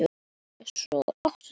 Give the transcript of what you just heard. Er þess von?